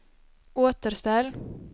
återställ